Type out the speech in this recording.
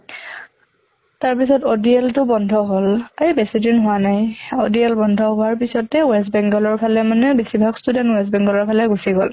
তাৰ পিছত ODL টো বন্ধ হʼল, এই বেছি দিন হোৱা নাই। ODL বন্ধ হোৱা পিছ্তে west bengal ৰ ফালে মানে বেছিভাগ student west bengal ৰ ফালে গুছি গʼল।